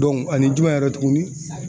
ani jumɛn yɛrɛ tuguni.